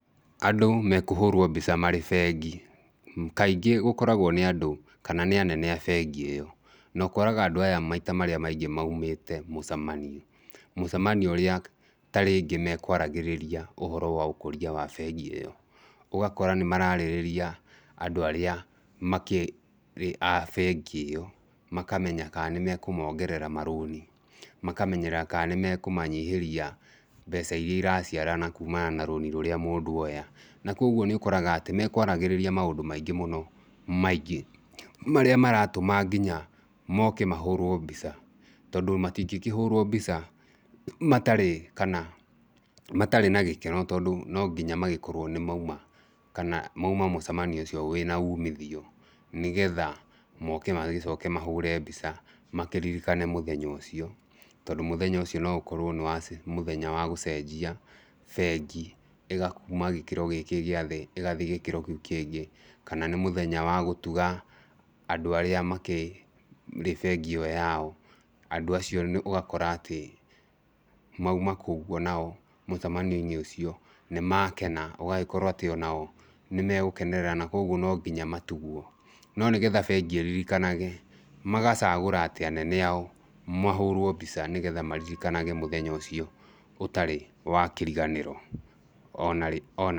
Andũ mekehũrwo mbica marĩ bengi, kaingĩ gũkoragwo nĩ andũ kana nĩ anene a bengi ĩo, nokoraga andu aya maita maingĩ moimĩte mũcemanio, mũcemanio ũrĩa ta rĩngĩ mekwaragĩrĩa ũhoro wa ũkũria wa bengi ĩo, ũgakora nĩmararĩrĩria andũ arĩa makĩrĩ a bengi ĩyo makamenya kana nĩmekũmongerera marũni, makamenya kana nĩmekũmanyihĩria mbeca iria iraciarana kũmana na rũni rũrĩa mũndũ oya, na koguo nĩũkoraga atĩ mekwaragĩrĩria maũndũ maingĩ mũno marĩa maratũma nginya moke mahũrwo mbica, tondũ matingĩkĩhũrwo mbica matarĩ kana matarĩ na gĩkeno tondũ nonginya magĩkorwo nĩmouma kana mouma mũcemanio ũcio wĩna ũmithio nĩgetha moke magĩcoke makĩhũre mbica makĩririkane mũthenya ũcio tondũ mũthenya ũcio noũkorwo nĩ mũthenya wa gũcenjia bengi kũma gĩkĩro gĩkĩ gĩa thĩ ĩgathiĩ gĩkĩro kĩngĩ, kana nĩ mũthenya wa gũtuga andũ arĩa makĩrĩ bengi ĩyo yao, andũ acio ũgakora atĩ mouma kũu ũguo mũcamanio ũcio nĩmakena, ũgagĩkoro atĩ nao nĩmagũkenerera na koguo nonginya matugwo.No nĩgetha bengi ĩririkanage, magagĩcagũra atĩ anene ao mahũrwo mbica nĩguo maririkanage mũthenya ũcio, ũtarĩ wa kĩriganĩro o narĩ onarĩ.